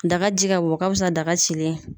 Daga ji ka wo o ka wusa daga cilen ye.